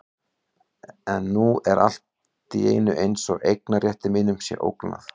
En nú er allt í einu eins og eignarrétti mínum sé ógnað.